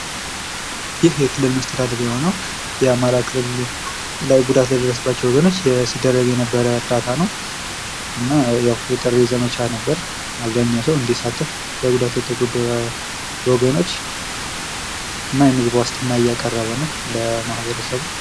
ይህ የክልል መስተዳድር የሆነው የአማራ ክልል ጉዳት ለደረሰባቸው ወገኖች ሲደረግ የነበረ ድጋፍ ነው። እና የጥሪ ዘመቻ ነበር አብዛኛው ሰው እንዲሳተፍ። ጉዳት ለተጎዱ ወገኖች እና የምግብ ዋስትና እያቀረበ ነው ለማህበረሰቡ።